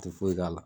Ti foyi k'a la